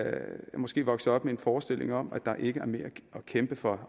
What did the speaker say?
måske vokset op med en forestilling om at der ikke er mere at kæmpe for